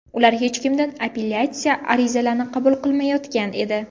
Ular hech kimdan apellyatsiya arizalarini qabul qilmayotgan edi.